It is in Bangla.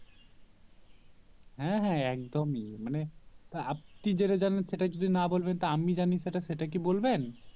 হ্যাঁ হ্যাঁ একদমই মানে আপনি যেটা জানেন সেটা যদি না বলবেন তা আমি জানি সেটা সেটা কি বলবেন